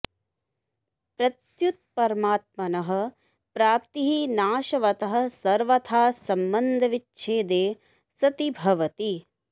प्रत्युत परमात्मनः प्राप्तिः नाशवतः सर्वथा सम्बन्धविच्छेदे सति भवति